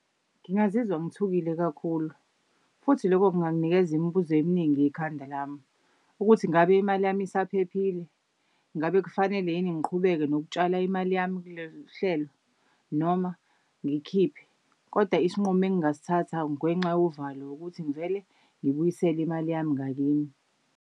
Ngingazizwa ngithukile kakhulu futhi lokho kunganginikeza imibuzo eminingi ekhanda lami. Ukuthi ngabe imali yami isaphephile? Ngabe kufanele yini ngiqhubeke nokutshala imali yami hlelo noma ngikhiphe? Kodwa isinqumo engasithatha ngenxa yovalo ukuthi ngivele ngibuyisele imali yami ngakimi.